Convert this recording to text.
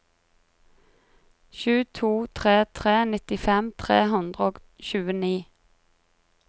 sju to tre tre nittifem tre hundre og tjueni